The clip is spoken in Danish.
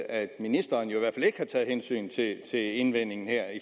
at ministeren i hvert har taget hensyn til til indvendingen her i